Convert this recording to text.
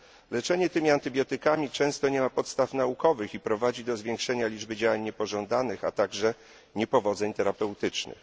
Leczenie tymi antybiotykami często nie ma podstaw naukowych i prowadzi do zwiększenia liczby działań niepożądanych, a także niepowodzeń terapeutycznych.